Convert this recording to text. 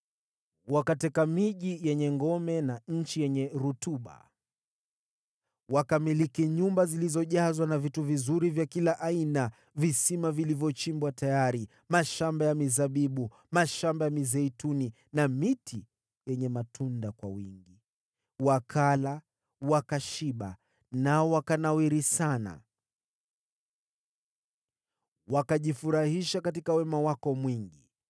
Wakateka miji yenye ngome na nchi yenye rutuba, wakamiliki nyumba zilizojazwa na vitu vizuri vya kila aina, visima vilivyochimbwa tayari, mashamba ya mizabibu, mashamba ya mizeituni na miti yenye matunda kwa wingi. Wakala, wakashiba nao wakanawiri sana, wakajifurahisha katika wema wako mwingi.